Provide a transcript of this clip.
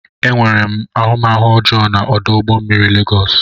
Enwere m ahụmahụ ọjọọ na ọdụ ụgbọ mmiri Lagos.